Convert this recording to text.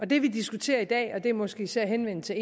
det vi diskuterer i dag og det er måske især henvendt til